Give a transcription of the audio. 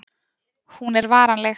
Hún er varanleg.